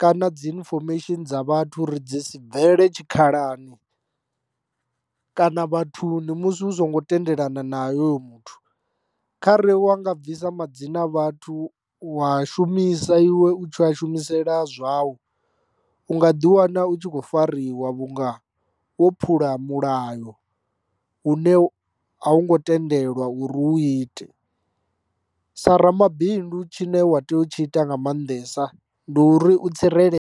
kana dzi infomesheni dza vhathu uri dzi si bvele tshikhalani kana vhathu ndi musi hu songo tendelana na yo muthu. Kha re wa nga bvisa madzina a vhathu u wa shumisa iwe u tshi a shumisela zwau u nga ḓi wana u tshi khou farariwa vhunga wo phula mulayo u ne a u ngo tendelwa uri u ite. Sa ramabindu tshine wa tea u tshi ita nga maanḓesa ndi uri u tsirele.